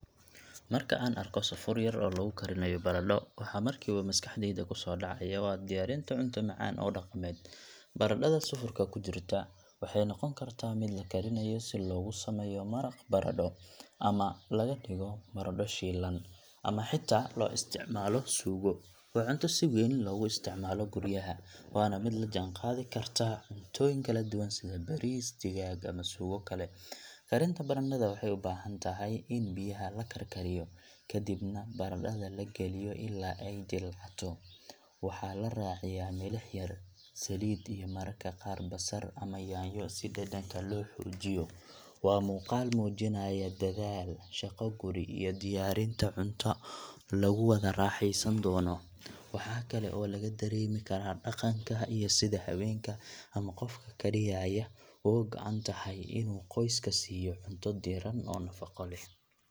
Marka aan arkayo sufur yar oo lagu karinayo baradho, waxa markiiba maskaxdayda ku soo dhacaya waa diyaarinta cunto macaan oo dhaqameed. Baradhada sufurka ku jirta waxay noqon kartaa mid la karinayo si loogu sameeyo maraq baradho, ama laga dhigo baradho shiilan, ama xitaa loo isticmaalo suugo. Waa cunto si weyn loogu isticmaalo guryaha, waana mid la jaanqaadi karta cuntooyin kala duwan sida bariis, digaag ama suugo kale. Karinta baradhada waxay u baahan tahay in biyaha la karkariyo, kadibna baradhada la geliyo ilaa ay jilcato. Waxaa la raaciyaa milix yar, saliid iyo mararka qaar basal ama yaanyo si dhadhanka loo xoojiyo. Waa muuqaal muujinaya dadaal, shaqo guri, iyo diyaarinta cunto lagu wada raaxaysan doono. Waxa kale oo laga dareemi karaa dhaqanka iyo sida ay haweenka ama qofka kariyayaa uga go’an tahay inuu qoyska siiyo cunto diirran oo nafaqo leh.